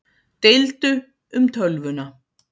Deildu um tölvuna